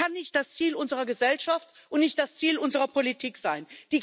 Das kann nicht das Ziel unserer Gesellschaft und nicht das Ziel unserer Politik sein.